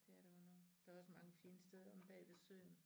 Det er der godt nok der også mange fine steder bag ved søen